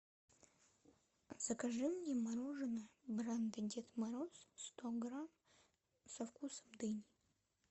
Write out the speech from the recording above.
закажи мне мороженое бренда дед мороз сто грамм со вкусом дыни